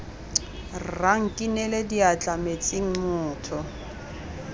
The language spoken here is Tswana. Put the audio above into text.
rra nkinele diatla metsing motho